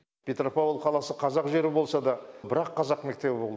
петропавл қаласы қазақ жері болса да бір ақ қазақ мектебі болды